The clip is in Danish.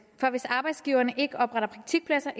for hvis arbejdsgiverne ikke opretter praktikpladser